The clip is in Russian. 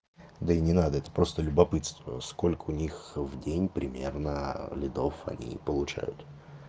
да и не надо это просто любопытство сколько у них в день примерно лидов они получают